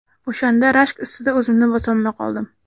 O‘shanda rashk ustida o‘zimni bosolmay qoldim.